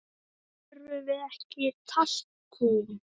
Þurfum við ekki talkúm?